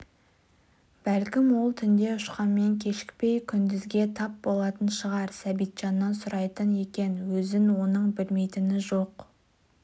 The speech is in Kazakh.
бәлкім ол түнде ұшқанмен кешікпей күндізге тап болатын шығар сәбитжаннан сұрайтын екен өзін оның білмейтіні жоқ